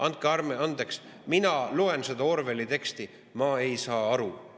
Andke andeks, ma loen seda Orwelli teksti, ja ma ei saa aru.